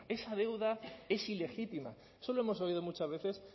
esa deuda es ilegítima eso lo hemos oído muchas veces